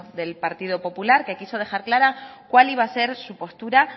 del partido popular que quiso dejar clara cuál iba a ser su postura